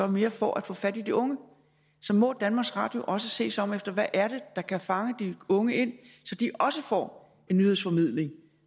mere for at få fat i de unge så må danmarks radio også se sig om efter hvad der kan fange de unge ind så de også får en nyhedsformidling